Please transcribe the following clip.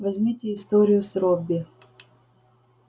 возьмите историю с робби